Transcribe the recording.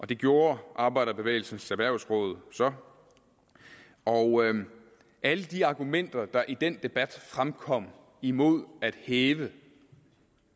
det gjorde arbejderbevægelsens erhvervsråd så og alle de argumenter der i den debat fremkom imod at hæve